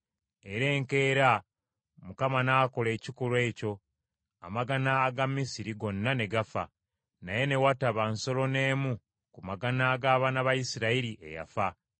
Era enkeera Mukama n’akola ekikolwa ekyo: amagana aga Misiri gonna ne gafa, naye ne wataba nsolo n’emu ku magana ag’abaana ba Isirayiri eyafa.